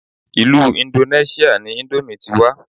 Ilú indoneṣia ni ìndòmí ti wá.